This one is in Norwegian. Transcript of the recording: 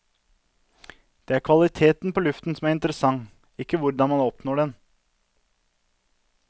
Det er kvaliteten på luften som er interessant, ikke hvordan man oppnår den.